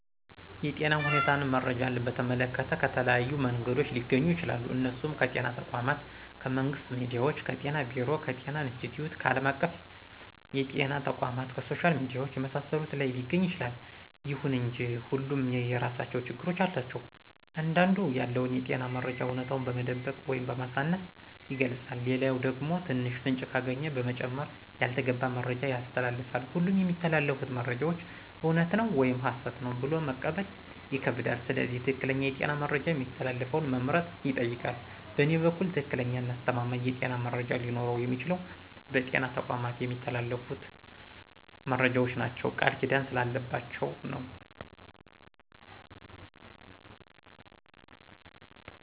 የጤና ሁኔታን መረጃን በተመለከተ ከተለያዩ መንገዶች ሊገኙ ይችላሉ እነሱም ከጤና ተቋማት :ከመንግስት ሚዲያዎች :ከጤና ቢሮ :ከጤና ኢንስትቲዮት :ከአለም አቀፍ የጤና ተቋማት :ከሶሻል ሚዲያዎች የመሳሰሉት ላይ ሊገኝ ይችላል። ይሁን እንጂ ሁሉም የየራሳቸው ችግሮች አሏቸው አንዳንዱ ያለውን የጤና መረጃ አውነታውን በመደበቅ ወይም በማሳነስ ይገልጻል ሌላኛው ደግሞ ትንሽ ፍንጭ ካገኘ በመጨማመር ያልተገባ መረጃ ያስተላልፋል ሁሉም የሚተላለፉት መረጃዎች እውነት ነው ወይም ሀሰት ነው ብሎ መቀበል ይከብዳል ስለዚህ ትክክለኛ የጤና መረጃ የሚያስተላልፈውን መምረጥ ይጠይቃል በእኔ በኩል ትክክለኛና አስተማማኝ የጤና መረጃ ሊኖረው የሚችለው በጤና ተቋማት የሚተላለፉት መረጃዎች ናቸው ቃልኪዳን ስላለባቸው ነው።